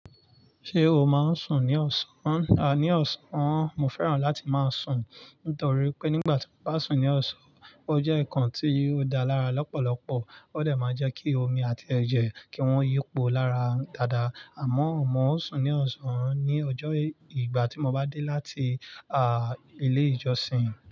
Ṣé o máa ń sùn ní ọ̀sán? A, ní ọ̀sán, mo fẹ́ràn láti máa sùn nítorí pé nígbà tí mo bá sùn ní ọ̀sán, ó jẹ́ ǹkan tí ó dáa lára lọ́pọ̀lọpọ̀. Ó dẹ̀ máa jẹ́ kí omi àti ẹ̀jẹ̀ kí wọ́n yípo lára dáadáa. Àmọ́, mo sùn ní ọ̀sán ní ọjọ́ ìgbà tí mo bá dé láti, à, ilé ìjọsìn.